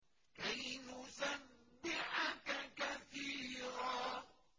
كَيْ نُسَبِّحَكَ كَثِيرًا